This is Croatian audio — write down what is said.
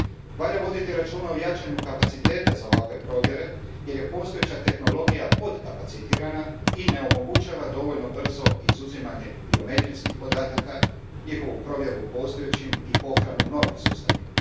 Valja voditi računa o jačanju kapaciteta za ovakve provjere, jer je postojeća tehnologija potkapacitirana i ne omogućava dovoljno brzo izuzimanje biometrijskih podataka, njihovu provjeru u postojećim i pohranu u novim sustavima.